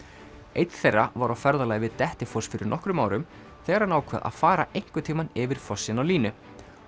einn þeirra var á ferðalagi við Dettifoss fyrir nokkrum árum þegar hann ákvað að fara einhvern tímann yfir fossinn á línu